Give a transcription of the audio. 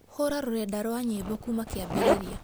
hura rurenda rũa nyĩmbo kuuma kĩambĩrĩria